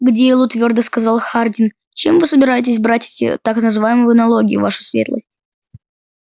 к делу твёрдо сказал хардин чем вы собираетесь брать эти так называемые налоги ваша светлость